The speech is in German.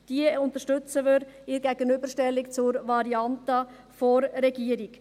Diese unterstützen wir bei der Gegenüberstellung zur Variante der Regierung.